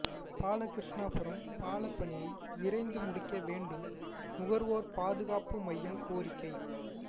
பாலகிருஷ்ணாபுரம் பால பணியை விரைந்து முடிக்க வேண்டும் நுகர்வோர் பாதுகாப்பு மையம் கோரிக்கை